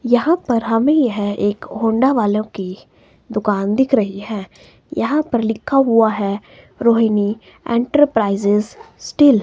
यहां पर हमें यह एक होंडा वालों की दुकान दिख रही हैं यहां पर लिखा हुआ हैं रोहिणी एंटरप्राइजेस स्टील ।